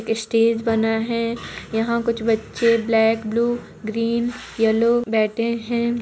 Stage बना है यहाँ कुछ बच्चे ब्लैक ब्लू ग्रीन येल्लो बैठे है।